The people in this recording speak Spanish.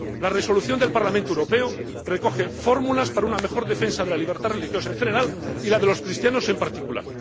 La resolución del Parlamento Europeo recoge fórmulas para una mejor defensa de la libertad religiosa en general y de la de los cristianos en particular.